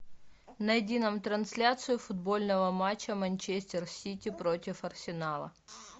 найди нам трансляцию футбольного матча манчестер сити против арсенала